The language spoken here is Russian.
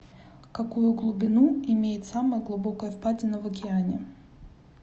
какую глубину имеет самая глубокая впадина в океане